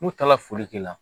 N'u taara foli k'i la